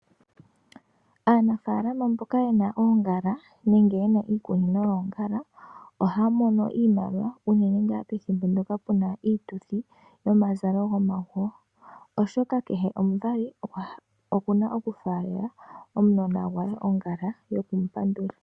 Aanafaalama mboka yena oongala nenge yena iikunino yoongala ohaya mono oshimaliwa. Unene ngaa pethimbo ndyoka puna iituthi yomazalo gomaguyo oshoka kehe omuvali okuna oku faalela omunona gwe ongala yoku mu pandula.